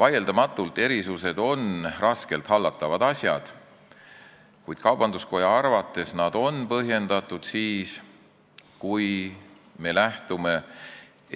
Vaieldamatult on erisused raskelt hallatavad asjad, kuid kaubanduskoja arvates on nad põhjendatud siis, kui me lähtume